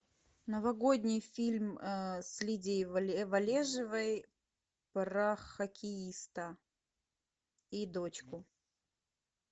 новогодний фильм с лидией вележевой про хоккеиста и дочку